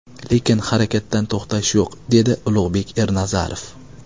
Lekin harakatdan to‘xtash yo‘q”, dedi Ulug‘bek Ernazarov.